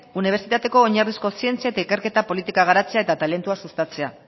unibertsitateko oinarrizko zientzia eta ikerketa politika garatzea eta talentua sustatzea